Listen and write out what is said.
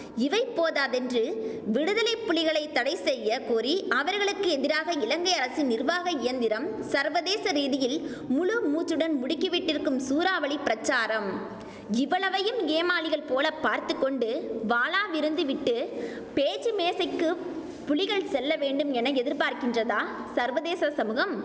இவை போதாதென்று விடுதலை புலிகளை தடை செய்ய கோரி அவர்களுக்கு எதிராக இலங்கை அரசின் நிர்வாக இயந்திரம் சர்வதேச ரீதியில் முழு மூச்சுடன் முடுக்கிவிட்டிருக்கும் சூறாவளி பிரசாரம் இவ்வளவையும் ஏமாளிகள் போல பார்த்து கொண்டு வாளாவிருந்து விட்டு பேச்சு மேசைக்கு புலிகள் செல்ல வேண்டும் என எதிர்பார்க்கின்றதா சர்வதேச சமுகம்